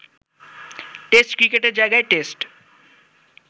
test ক্রিকেটের জায়গায় test